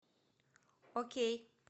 окей